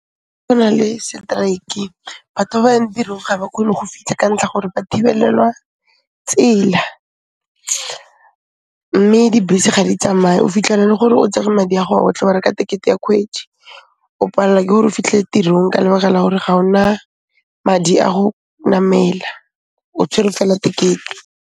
Go na le setraeke, batho ba ba yang tirong ga ba khone go fitlha ka ntlha gore ba thibellelwa tsela, mme dibese ga di tsamaye. O fitlhela e le gore o tsere madi a'go a otlhe, wa reka tekete ya khwedi, o palla k ore o fitlhe tirong ka lebaka la gore ga o na madi a go namela, o tshwere fela tekete.